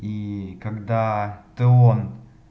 и когда теон